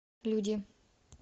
люди